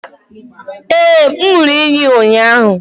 Ee, m ṅụrụ iyi ụnyahụ